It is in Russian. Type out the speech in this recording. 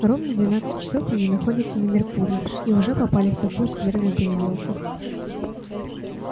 ровно двенадцать часов они находятся на меркурии и уже попали в такую скверную переделку